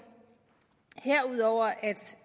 herudover at